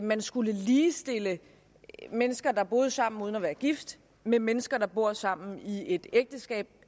man skulle ligestille mennesker der bor sammen uden at være gift med mennesker der bor sammen i et ægteskab